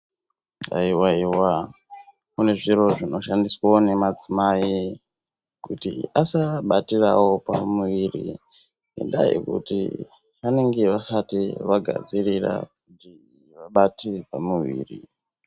Haiwaiwa kune zviro zvinoshandiswa nemadzimai kuti asabatirawo pamuviri zvingadai kuti vanenge vasati vagadzirira kuti vabatire pamuviri.